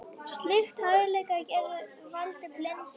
Slíkt athæfi gæti valdið blindu.